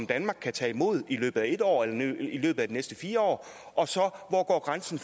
danmark kan tage imod i løbet af en år eller i løbet af de næste fire år og så om hvor grænsen